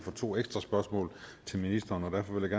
for to ekstra spørgsmål til ministeren derfor vil